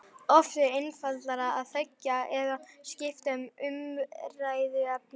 Oft er einfaldara að þegja eða skipta um umræðuefni.